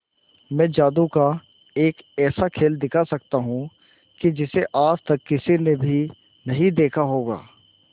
मैं जादू का एक ऐसा खेल दिखा सकता हूं कि जिसे आज तक किसी ने भी नहीं देखा होगा